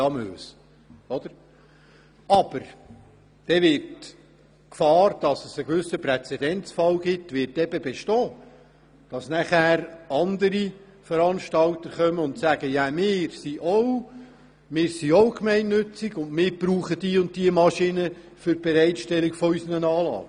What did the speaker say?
Allerdings bestünde die Gefahr darin, dass daraus ein Präzedenzfall entstünde, sodass weitere Veranstalter kämen und mit dem Hinweis auf ihre Gemeinnützigkeit ebenfalls Bedarf für diese oder jene Maschine für die Bereitstellung ihrer Anlagen anmelden würden.